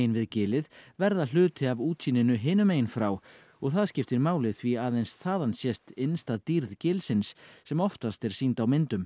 við gilið verða hluti af útsýninu hinum megin frá og það skiptir máli því aðeins þaðan sést innsta dýrð gilsins sem oftast er sýnd á myndum